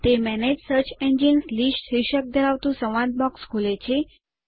તે manage search engines list શીર્ષક ધરાવતું સંવાદ બોક્સ ખોલે છે